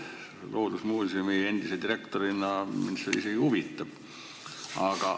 Loodusmuusemi endise direktorina mind see isegi huvitab.